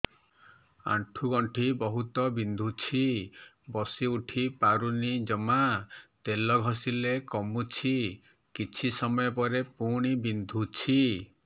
ଆଣ୍ଠୁଗଣ୍ଠି ବହୁତ ବିନ୍ଧୁଛି ବସିଉଠି ପାରୁନି ଜମା ତେଲ ଘଷିଲେ କମୁଛି କିଛି ସମୟ ପରେ ପୁଣି ବିନ୍ଧୁଛି